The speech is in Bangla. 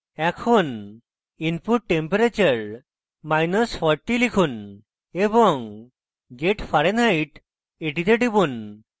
এখন input temperature40 লিখুন এবং get fahrenheit এ টিপুন